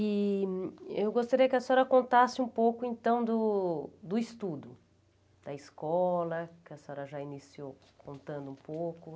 E eu gostaria que a senhora contasse um pouco então do do estudo, da escola, que a senhora já iniciou aqui contando um pouco.